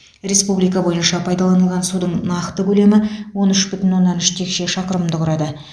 республика бойынша пайдаланылған судың нақты көлемі он үш бүтін оннан үш текше шақырымды құрады